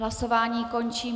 Hlasování končím.